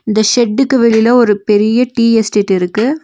இந்த ஷெட்டுக்கு வெளில ஒரு பெரிய டீ எஸ்டேட் இருக்கு.